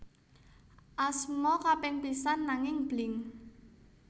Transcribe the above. Asma kaping pisan nanging Blink